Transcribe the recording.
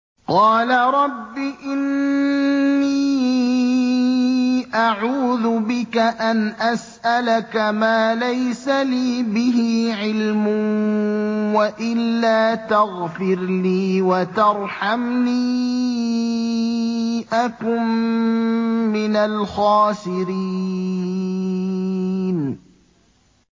قَالَ رَبِّ إِنِّي أَعُوذُ بِكَ أَنْ أَسْأَلَكَ مَا لَيْسَ لِي بِهِ عِلْمٌ ۖ وَإِلَّا تَغْفِرْ لِي وَتَرْحَمْنِي أَكُن مِّنَ الْخَاسِرِينَ